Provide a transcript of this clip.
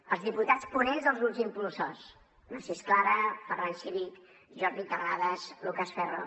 als diputats ponents dels grups impulsors narcís clara ferran civit jordi terrades lucas ferro